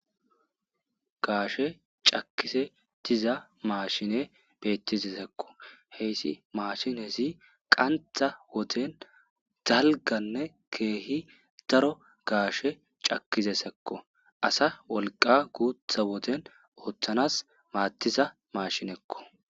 Gaashe cakisetiza maashine beettizesekko heyssi maashinezi qantha woten dalganne keehi daro gaashe cakizesekko asa wolqa guutha woten ooththanas maattiza mashinekko.